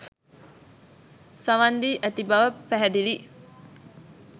සවන් දී ඇති බව පැහැදිලිය.